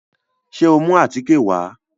Ṣé o mú àtíkè wá?